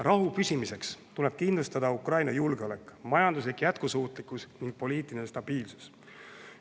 Rahu püsimiseks tuleb kindlustada Ukraina julgeolek, majanduslik jätkusuutlikkus ning poliitiline stabiilsus.